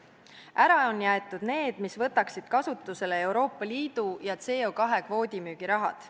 Ära on jäetud need, mis võtaksid kasutusele Euroopa Liidu ja CO2 kvoodi müügi rahad.